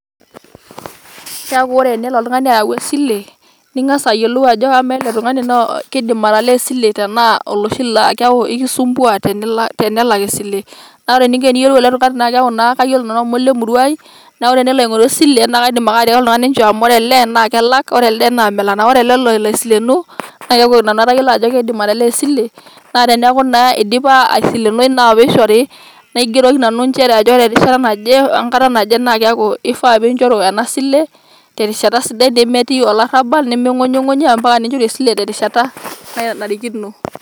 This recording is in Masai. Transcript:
keeku ore tenelo oltung'ani ayau esile, ning'as ayiolou ajo amaa ele tung'ani kidim atalaa esile tenaa keeku oloshi laa ekisumbua tenelak esile. naa ore eninko teniyiolou ele tung'ani naa kayiolo naa amu olemurua ai, naa tenelo aing'oru esile naa kaidim ake atiaaki otung'ani, inchoo amu ore ele naa kelak, ore ele naa melak. ore ele lolo aisilenu, naa keeku nanu atayiolo ajo kidim atalaa esile, naa teneeku naa idipa iasilenoi nishori, naa kaigeroki nanu ajo ore enkata naje neidipa atalaaa.